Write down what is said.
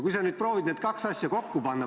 Kui sa nüüd proovid need kaks asja kokku panna.